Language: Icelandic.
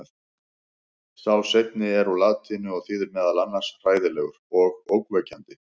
sá seinni er úr latínu og þýðir meðal annars „hræðilegur“ og „ógnvekjandi“